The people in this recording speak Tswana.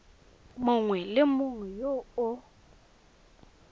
mongwe le mongwe yo a